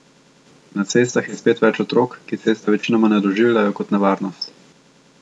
Na cestah je spet več otrok, ki ceste večinoma ne doživljajo kot nevarnost.